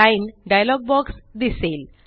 line dialogue box दिसेल